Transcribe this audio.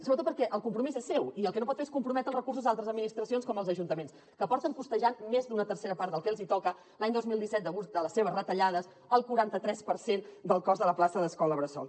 sobretot perquè el compromís és seu i el que no pot fer és comprometre els recursos d’altres administracions com els ajuntaments que porten costejant més d’una tercera part del que els hi toca l’any dos mil disset degut a les seves retallades el quaranta tres per cent del cost de la plaça d’escola bressol